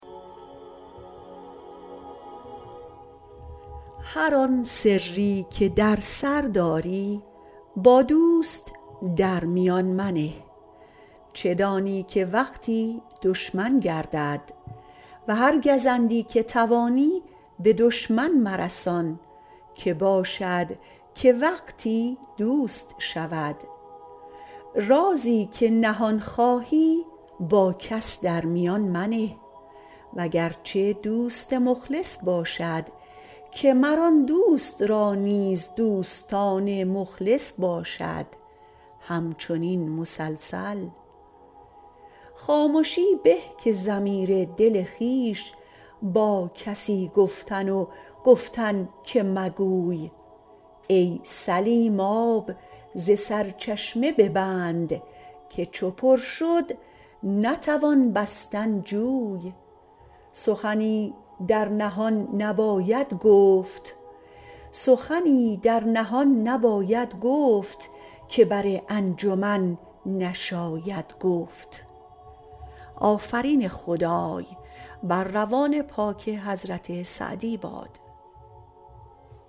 هر آن سری که در سر داری با دوست در میان منه چه دانی که وقتی دشمن گردد و هر گزندی که توانی به دشمن مرسان که باشد که وقتی دوست شود رازی که نهان خواهی با کس در میان منه وگرچه دوست مخلص باشد که مر آن دوست را نیز دوستان مخلص باشد همچنین مسلسل خامشی به که ضمیر دل خویش با کسی گفتن و گفتن که مگوی ای سلیم آب ز سرچشمه ببند که چو پر شد نتوان بستن جوی سخنی در نهان نباید گفت که بر انجمن نشاید گفت